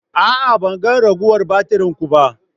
A'a, ban ga ragowar batirin ku ba.